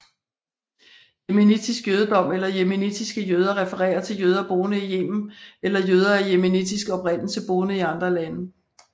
Yemenitisk jødedom eller yemenitiske jøder refererer til jøder boende i Yemen eller jøder af yemenitisk oprindelse boende i andre lande